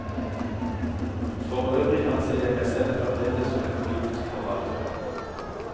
Forøvrig anser jeg meg selv fremdeles som en politisk forfatter.